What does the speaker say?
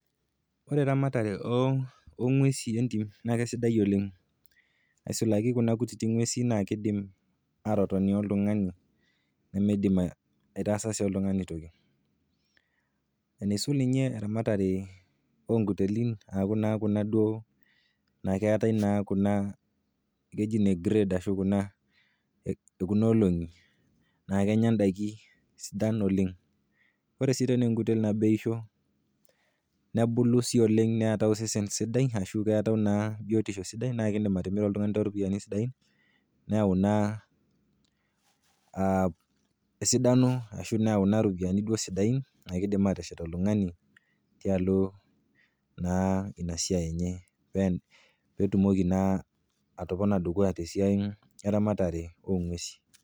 Ore eramatare o ng'uesi entim naa kesidai oleng, aisulaki kuna kutiti ng'uesi naa keidim atotoni oltung'ani nemeidim aitasa sii oltung'ani toki. Enaisul ninye eramatare o nkutelin aaku naa duo, akeatai kuna keji inegred, kuna ekuna olong'i, naa kenya ndaiki sidan oleng. Ore sii tena enkutel teneishoo nebulu sii oleng, neatayu osesen sidai ashu keatau naa biotisho sidai naa kindim atimira oltung'ani toorupiani sidain neyau ina esidano aashu neyau naa iropiani sidain naa keidim ateshet oltung'ani tialo naa ina siai enye petumoki naa atopona dukuya tesiai eramatare o ng'uesi.